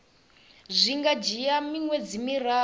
zwi nga dzhia miṅwedzi miraru